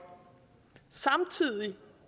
samtidig